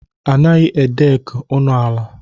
A naghị a dek ụnọala.